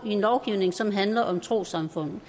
i en lovgivning som handler om trossamfund